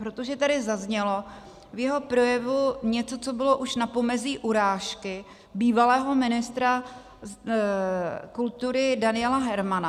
Protože tady zaznělo v jeho projevu něco, co bylo už na pomezí urážky bývalého ministra kultury Daniela Hermana.